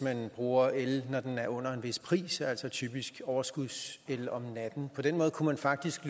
bruger el når den er under en vis pris altså typisk overskudsel om natten på den måde kunne man faktisk